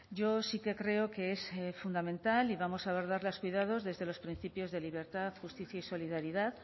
yo sí que creo que es fundamental y vamos a abordar los cuidados desde los principios de libertad justicia y solidaridad